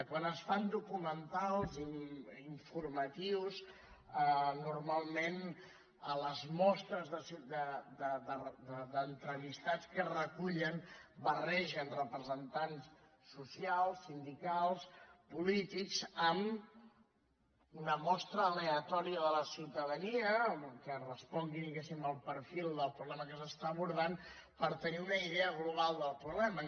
quan es fan documentals i informatius normalment a les mostres d’entrevistats que es recullen barregen representants socials sindicals polítics amb una mostra aleatòria de la ciutadania que respongui diguemne al perfil del problema que s’està abordant per tenir una idea global del problema